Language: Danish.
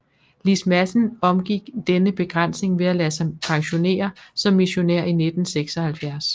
Lis Madsen omgik denne begrænsning ved at lade sig pensionere som missionær i 1976